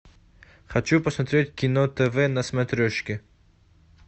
хочу посмотреть кино тв на смотрешке